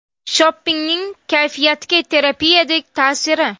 Shoppingning kayfiyatga terapiyadek ta’siri.